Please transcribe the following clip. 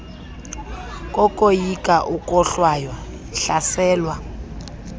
kokoyika ukohlwaywa hlaselwa